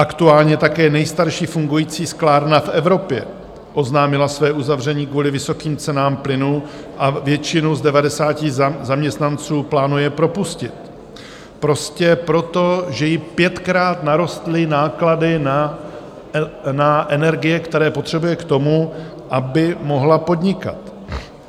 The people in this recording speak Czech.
Aktuálně také nejstarší fungující sklárna v Evropě oznámila své uzavření kvůli vysokým cenám plynu a většinu z 90 zaměstnanců plánuje propustit - prostě proto, že jí pětkrát narostly náklady na energie, které potřebuje k tomu, aby mohla podnikat.